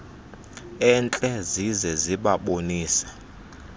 entle zize zibabonise